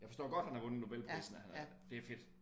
Jeg forstår godt han har vundet nobelprisen han er det fedt